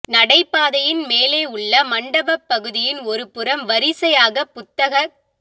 நடைபாதையின் மேலே உள்ள மண்டபப் பகுதியின் ஒரு புறம் வரிசையாகப் புத்தகக்